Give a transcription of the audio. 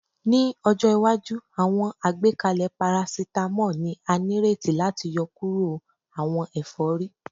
Ni ọjọ iwaju, awọn agbekalẹ paracetamol ni a nireti lati yọkuro awọn efori